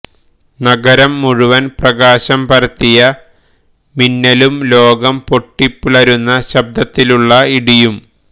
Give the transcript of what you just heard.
നഗരം മുഴുവൻ പ്രകാശം പരത്തിയ മിന്നലും ലോകം പൊട്ടിപിളരുന്ന ശബ്ദത്തിലുള്ള ഇടിയും